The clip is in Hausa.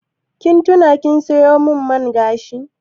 Kin tuna kin sayo min man gashi?